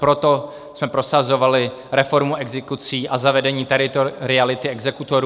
Proto jsme prosazovali reformu exekucí a zavedení teritoriality exekutorů.